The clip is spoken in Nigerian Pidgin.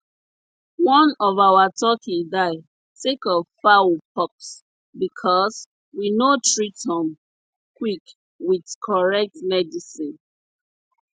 one of our turkey die sake of fowl pox because we no treat um quick with correct medicine